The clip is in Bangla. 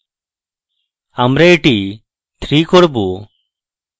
আমরা এটি 3 করব